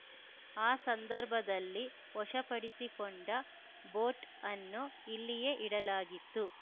ಆ ಸಂದರ್ಭದಲ್ಲಿ ವಶಪಡಿಸಿಕೊಂಡ ಬೋಟ್‌ ಅನ್ನು ಇಲ್ಲಿಯೇ ಇಡಲಾಗಿತ್ತು